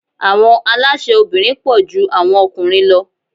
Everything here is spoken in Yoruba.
Àwọn alásè obìnrin pọ̀ ju àwọn okùnrin lọ.